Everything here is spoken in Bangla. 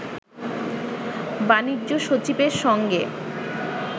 বাণিজ্য সচিবের সঙ্গে